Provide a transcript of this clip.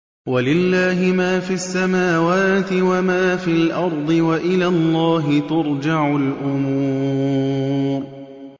وَلِلَّهِ مَا فِي السَّمَاوَاتِ وَمَا فِي الْأَرْضِ ۚ وَإِلَى اللَّهِ تُرْجَعُ الْأُمُورُ